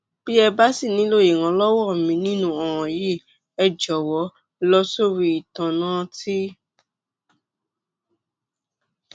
bí ẹ bá ṣì nílò ìrànlọwọ mi nínú ọràn yìí ẹ jọwọ lọ sórí íntánẹẹtì